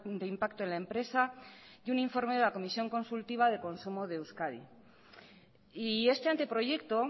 de impacto en la empresa y un informe de la comisión consultiva de consumo de euskadi y este anteproyecto